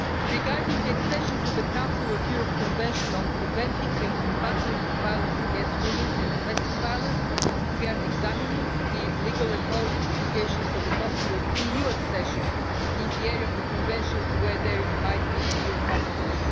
Regarding accession to the Council of Europe Convention on preventing and combating violence against women and domestic violence, we are examining the legal and policy implications of a possible EU accession in the area of the Convention where there might be EU competence.